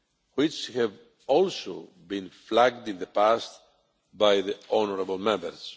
which have also been flagged in the past by the honourable Members.